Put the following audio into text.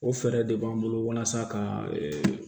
O fɛɛrɛ de b'an bolo walasa ka